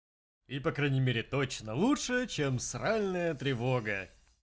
и по крайней мере точно лучше чем сральная тревога